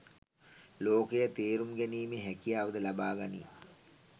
ලෝකය තේරුම් ගැනීමේ හැකියාව ද ලබා ගනී.